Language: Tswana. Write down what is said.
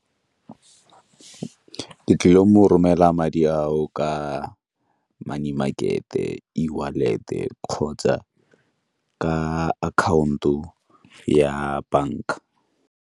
Ke tlile go mo romela madi ao ka money market-e, Ewallet-e kgotsa ka account-o ya banka.